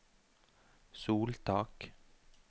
soltak